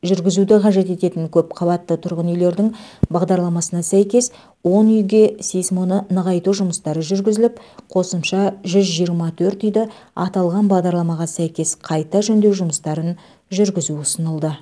жүргізуді қажет ететін көпқабатты тұрғын үйлердің бағдарламасына сәйкес он үйге сейсмоны нығайту жұмыстары жүргізіліп қосымша жүз жиырма төрт үйді аталған бағдарламаға сәйкес қайта жөндеу жұмыстарын жүргізу ұсынылды